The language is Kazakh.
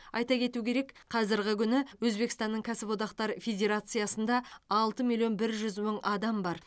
айта кету керек қазырғы күні өзбекстанның кәсіподақтар федерациясында алты миллион бір жүз мың адам бар